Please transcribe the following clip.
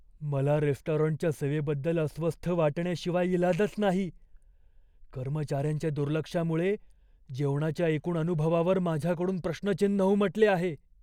मला रेस्टॉरंटच्या सेवेबद्दल अस्वस्थ वाटण्याशिवाय इलाजच नाही, कर्मचाऱ्यांच्या दुर्लक्षामुळे जेवणाच्या एकूण अनुभवावर माझ्याकडून प्रश्नचिन्ह उमटले आहे.